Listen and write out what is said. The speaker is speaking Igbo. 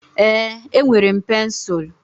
Ee, enwere m pensụl.